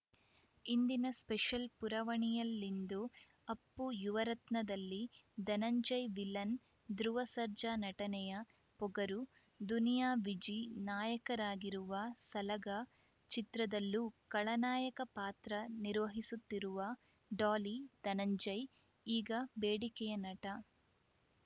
ಇಂದಿನ ಸ್ಪೆಷಲ್‌ ಪುರವಣಿಯಲ್ಲಿಂದು ಅಪ್ಪು ಯುವರತ್ನದಲ್ಲಿ ಧನಂಜಯ್‌ ವಿಲನ್‌ ಧ್ರುವ ಸರ್ಜಾ ನಟನೆಯ ಪೊಗರು ದುನಿಯಾ ವಿಜಿ ನಾಯಕರಾಗಿರುವ ಸಲಗ ಚಿತ್ರದಲ್ಲೂ ಖಳನಾಯಕ ಪಾತ್ರ ನಿರ್ವಹಿಸುತ್ತಿರುವ ಡಾಲಿ ಧನಂಜಯ್‌ ಈಗ ಬೇಡಿಕೆಯ ನಟ